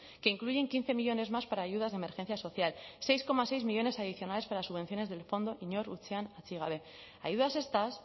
que incluyen quince millónes más para ayudas de emergencia social seis coma seis millónes adicionales para subvenciones del fondo inor atzean utzi gabe ayudas estas